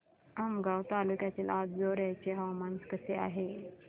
आमगाव तालुक्यातील अंजोर्याचे हवामान कसे आहे